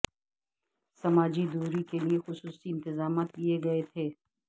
سماجی دوری کے لئے خصوصی انتظامات کیے گئے تھے